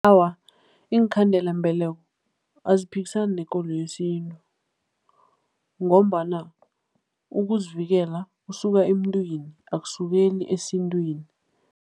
Awa, iinkhandelambeleko aziphikisani nekolo yesintu ngombana ukuzivikela kusuka emntwini, akusukeli esintwini.